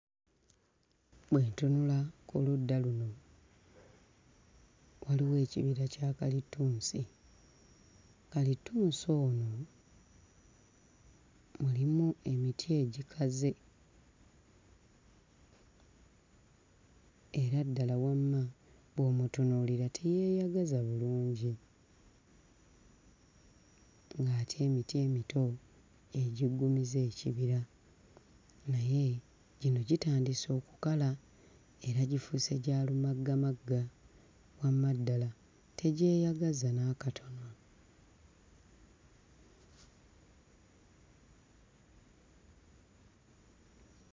Bwe ntunula ku ludda luno waliwo ekibira kya kalittunsi, kalittunsi ono mulimu emiti egikaze era ddala wamma bw'omutunuulira teyeeyagaza bulungi ng'ate emiti emito gye giggumiza ekibira naye gino gitandise okukala era gifuuse gya lumaggamagga, wamma ddala tegyeyagaza n'akatono.